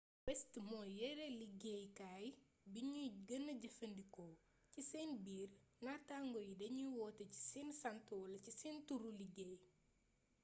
west moy yere liggéeykay bignuy gena jefandiko ci sen biir nàttangoo yi dagnuy woote ci seen sànt wala ci sen turu liggéey